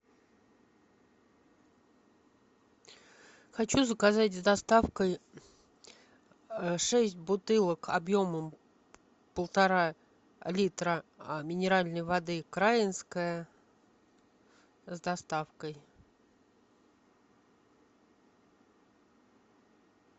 хочу заказать с доставкой шесть бутылок объемом полтора литра минеральной воды краинская с доставкой